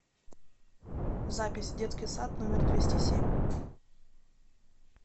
запись детский сад номер двести семь